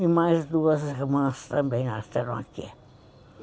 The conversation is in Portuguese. E mais duas irmãs também nasceram aqui.